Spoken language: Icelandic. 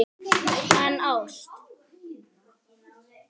En ást?